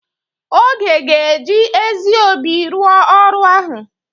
Oge ga-eji ezi obi rụọ ọrụ ahụ?